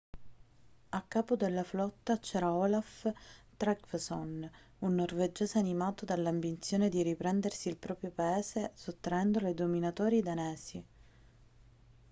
a capo della flotta c'era olaf trygvasson un norvegese animato dall'ambizione di riprendersi il proprio paese sottraendolo ai dominatori danesi